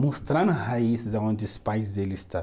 mostrando raízes aonde os pais deles estão.